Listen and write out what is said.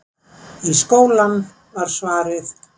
Í skólann, var svarið.